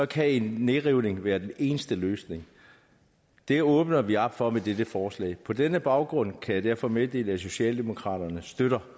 kan en nedrivning være den eneste løsning det åbner vi op for med dette forslag på denne baggrund kan jeg derfor meddele at socialdemokraterne støtter